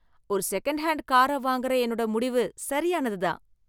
ஒரு second hand கார வாங்குற என்னோட முடிவு சரியானதுதான்.